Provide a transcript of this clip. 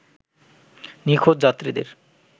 নিখোঁজ যাত্রীদের